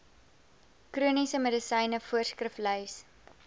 chroniese medisyne voorskriflys